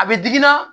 A bɛ digi na